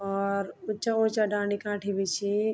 और ऊँचा ऊँचा डांडी कांठी भी छी।